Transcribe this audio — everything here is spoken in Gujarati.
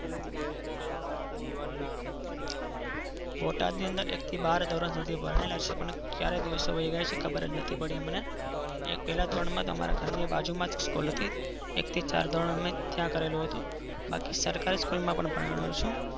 બોટાદ ની અંદર એક થી બાર ધોરણ સુધી અમે ભણેલા છીએ. ક્યારે દિવસો વાયી ગયા યે ખબરજ નથીપડી અમને પેલા ધોરણ માં તો અમારા ઘર ની બાજુ માજ school હતી. એક થી સાત ધોરણ અમે ત્યાં કરેલું હતું. બાકી સરકારી school માં પણ ભણેલા છીએ.